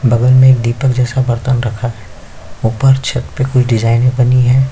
और बगल मे एक दीपक जैसा बर्तन रखा हैं ऊपर छत पे कुछ डिजाइन बनी हैं।